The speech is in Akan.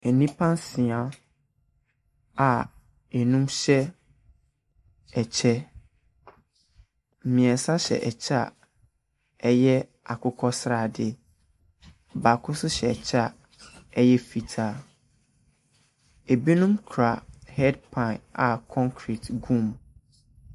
Nnipa nsia a ɛnum hyɛ ɛkyɛ, mmiɛnsa ɛhyɛ ɛkyɛ a ɛyɛ akokɔsradeɛ, baako nso hyɛ ɛkyɛ a ɛyɛ fitaa. Ɛbinom kura hɛɛdpan a konkerete gum.